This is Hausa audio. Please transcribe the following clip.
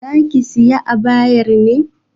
Zaki sayi abayar ne?